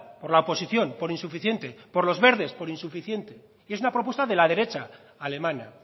por la oposición por insuficiente por los verdes por insuficiente y es una propuesta de la derecha alemana